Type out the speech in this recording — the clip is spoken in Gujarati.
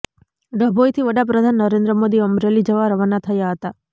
ડભોઇથી વડાપ્રધાન નરેન્દ્ર મોદી અમેરલી જવા રવાના થયા હતા